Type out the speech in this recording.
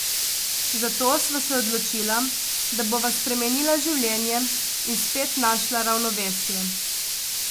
Zato sva se odločila, da bova spremenila življenje in spet našla ravnovesje.